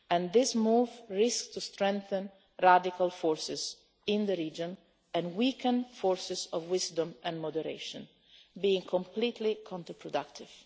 This move risks strengthening radical forces in the region and weakening forces of wisdom and moderation, being completely counterproductive.